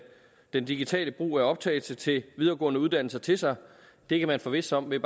den digitale brug af optagelsen til de videregående uddannelser til sig det kan man forvisse sig om ved